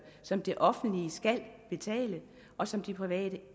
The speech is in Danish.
som det offentlige skal betale og som de private